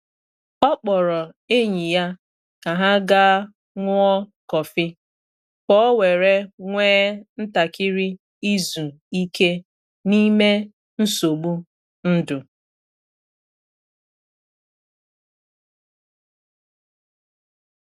Ọ kpọrọ enyi ya ka ha gaa ṅụọ kọfị, ka o were nwe ntakịrị izu ike n’ime nsogbu ndụ.